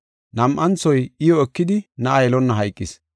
Nam7anthoy iyo ekidi na7a yelonna hayqis.